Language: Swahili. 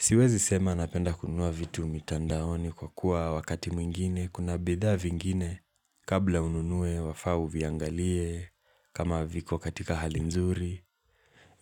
Siwezi sema napenda kununua vitu mitandaoni kwa kuwa wakati mwingine, kuna bidhaa vingine kabla ununue wafaa uviangalie kama viko katika hali nzuri.